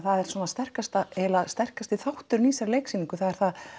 sterkasti sterkasti þátturinn í þessari leiksýningu það er það